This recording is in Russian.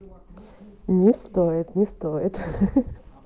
не стоит не стоит